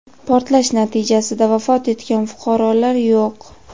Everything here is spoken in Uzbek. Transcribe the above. portlash natijasida vafot etgan fuqarolar yo‘q.